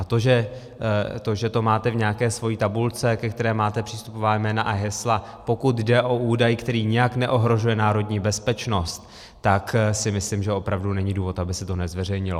A to, že to máte v nějaké své tabulce, ke které máte přístupová jména a hesla, pokud jde o údaj, který nijak neohrožuje národní bezpečnost, tak si myslím, že opravdu není důvod, aby se to nezveřejnilo.